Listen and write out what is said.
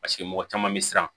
Paseke mɔgɔ caman bɛ siran